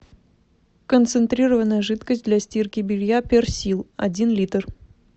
концентрированная жидкость для стирки белья персил один литр